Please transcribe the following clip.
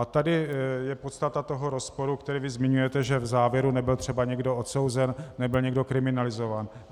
A tady je podstata toho rozporu, který vy zmiňujete, že v závěru nebyl třeba někdo odsouzen, nebyl někdo kriminalizován.